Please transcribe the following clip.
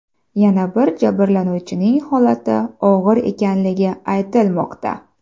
Yana bir jabrlanuvchining holati og‘ir ekanligi aytilmoqda.